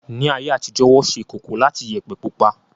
Ní ayé àtijó, Wọ́n ṣe ìkòkò láti Iyẹ̀pẹ̀ pupa